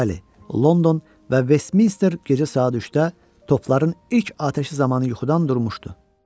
Bəli, London və Westminster gecə saat 3-də topların ilk atəş açıldığı zamanı yuxudan durmuşdu.